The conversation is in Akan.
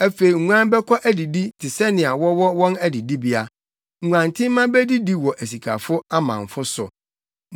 Afei nguan bɛkɔ adidi te sɛnea wɔwɔ wɔn adidibea; nguantenmma bedidi wɔ asikafo amamfo so.